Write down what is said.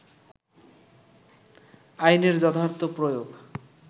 আইনের যথার্থ প্রয়োগ